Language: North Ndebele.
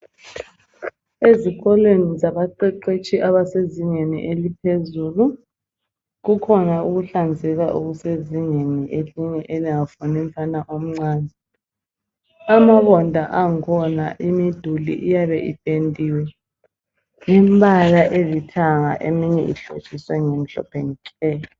Ezikolweni zabaqeqetshi abasezingeni eliphezulu kukhona ukuhlanzeka okusezingeni elingafuni umfana omncane. Amabonda ankhona imiduli iyabe ipendiwe imbala elithanga eminye ihlotshiswe ngemhlophe nke.